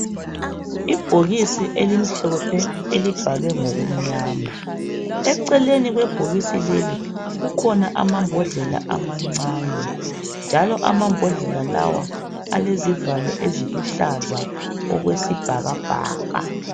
Ibhokisi elimhlophe elibhalwe ngokumnyama. Eceleni kwebhokisi leli kukhona amambodlela ama ncane njalo amambodlela lawa alezivalo eziluhlaza okwesibhakabhaka